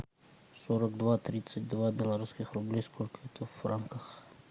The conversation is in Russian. сорок два тридцать два белорусских рублей сколько это в франках